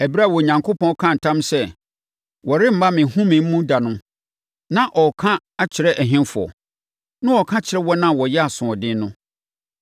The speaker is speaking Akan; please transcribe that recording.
Ɛberɛ a Onyankopɔn kaa ntam sɛ, “Wɔremma me home mu da” no, na ɔreka akyerɛ ɛhefoɔ? Na ɔreka akyerɛ wɔn a wɔyɛɛ asoɔden no.